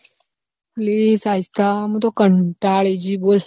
લી સાહિસ્તા મુ તો કંટાળી જી બોલ